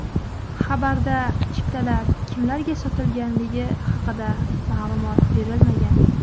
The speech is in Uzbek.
Xabarda chiptalar kimlarga sotilganligi haqida ma’lumot berilmagan.